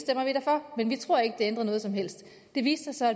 for men vi tror ikke det ændrer noget som helst det viste sig